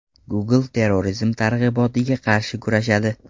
Google terrorizm targ‘ibotiga qarshi kurashadi.